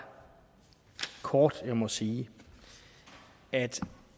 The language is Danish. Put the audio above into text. kort må sige at